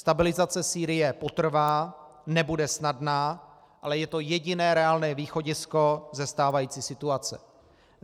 Stabilizace Sýrie potrvá, nebude snadná, ale je to jediné reálné východisko ze stávající situace.